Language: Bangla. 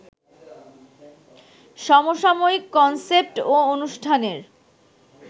সমসাময়িক কনসেপ্ট ও অনুষ্ঠানের